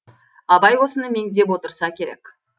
абай осыны меңзеп отырса керек